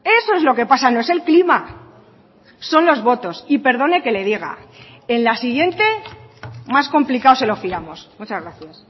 eso es lo que pasa no es el clima son los votos y perdone que le diga en la siguiente más complicado se lo fiamos muchas gracias